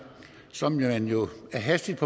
som man jo hastigt